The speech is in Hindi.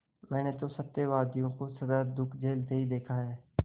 मैंने तो सत्यवादियों को सदा दुःख झेलते ही देखा है